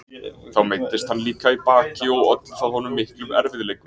Þá meiddist hann líka í baki og olli það honum miklum erfiðleikum.